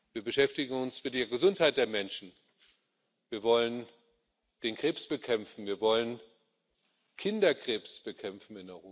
Wir beschäftigen uns mit der Gesundheit der Menschen Wir wollen den Krebs bekämpfen, wir wollen in Europa Kinderkrebs bekämpfen.